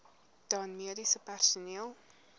dan mediese personeel